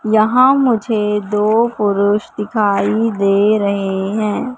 यहां मुझे दो पुरुष दिखाई दे रहे हैं।